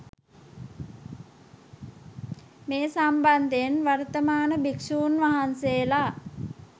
මේ සම්බන්ධයෙන් වර්තමාන භික්‍ෂූන් වහන්සේලා